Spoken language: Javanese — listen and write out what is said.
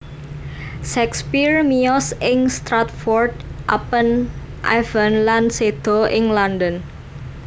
Shakespeare miyos ing Stratford upon Avon lan séda ing London